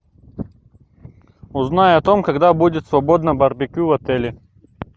узнай о том когда будет свободно барбекю в отеле